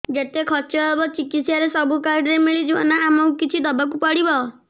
ଯେତେ ଖର୍ଚ ହେବ ଚିକିତ୍ସା ରେ ସବୁ କାର୍ଡ ରେ ମିଳିଯିବ ନା ଆମକୁ ବି କିଛି ଦବାକୁ ପଡିବ